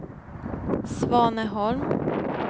Svaneholm